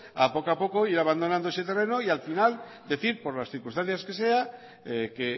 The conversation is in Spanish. a poco a poco ir abandonando ese terreno y al final decir por las circunstancias que sea que